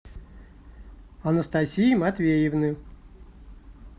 анастасии матвеевны